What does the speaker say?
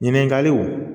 Ɲininkaliw